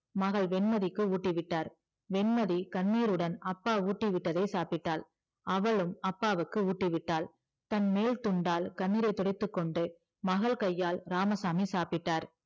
மகள் வெண்மதிக்கு ஊட்டி விட்டார் வெண்மதி கண்ணீருடன் அப்பா ஊட்டி விட்டதை சாப்பிட்டாள் அவளும் அப்பாவுக்கு ஊட்டி விட்டாள் தன் மேல் துண்டால் கண்ணீரை துடைத்துக்கொண்டு மகள் கையால் இராமசாமி சாப்பிட்டார்